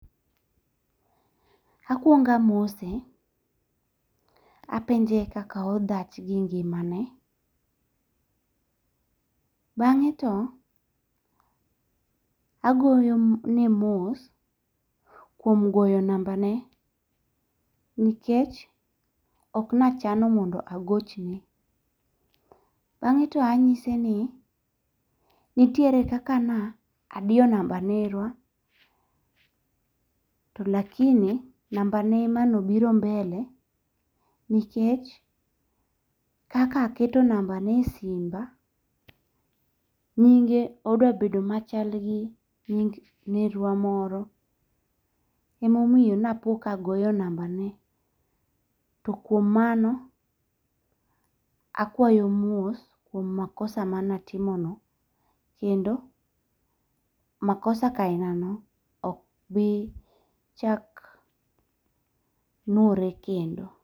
Akwongamose. Apenje kaka odhach gi ngimane. Bang'e to agoyo ne mos kuom goyo namba ne nikech ok nachano mondo agochne. Bang'e to anyise ni nitiere kaka na adiyo namba nerwa to lakini namba ne emane obiro mbele nikech kaka aketo namba ne e simba nyinge odwa bedo machal gi nying nerwa moro emomiyo ne apo ka agoyo namba ne. To kuom mano akwayo mos kuom makosa mane atimo no kendo makosa kainano ok bi chak nwore kendo.